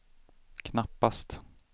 knappast